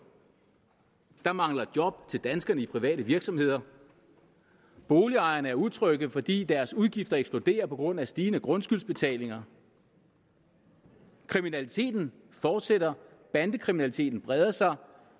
der mangler job til danskerne i private virksomheder boligejerne er utrygge fordi deres udgifter eksploderer på grund af stigende grundskyldsbetalinger kriminaliteten fortsætter bandekriminaliteten breder sig